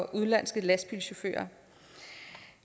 udenlandske lastbilchauffører